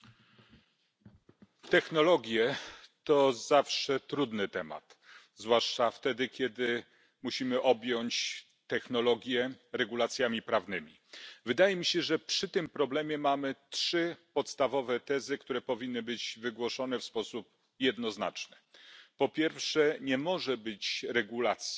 Panie Przewodniczący! Technologie to zawsze trudny temat, zwłaszcza wtedy kiedy musimy objąć technologie regulacjami prawnymi. Wydaje mi się, że przy tym problemie mamy trzy podstawowe tezy, które powinny być wygłoszone w sposób jednoznaczny. Po pierwsze, nie może być regulacji